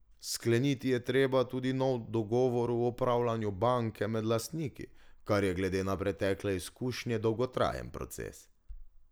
Skleniti je treba tudi nov dogovor o upravljanju banke med lastniki, kar je glede na pretekle izkušnje dolgotrajen proces.